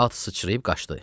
At sıçrayıb qaçdı.